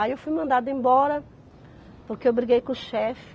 Aí eu fui mandada embora, porque eu briguei com o chefe.